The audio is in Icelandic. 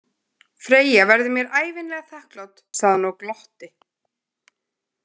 Freyja verður mér ævinlega þakklát, sagði hann og glotti.